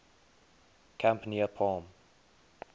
camp near palm